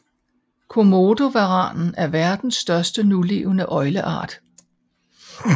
Komodovaranen er verdens største nulevende øgleart